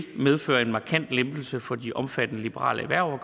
medføre en markant lempelse for de omfattede liberale erhverv og